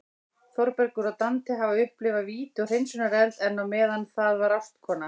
Þórbergur og Dante hafa upplifað víti og hreinsunareld, en á meðan það var ástkona